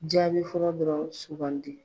Jaabi fɔlɔ dɔrɔn sugan di